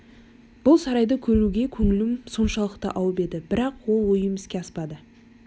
бұл сарайды көруге көңілім соншалықты ауып еді бірақ ол ойым іске аспады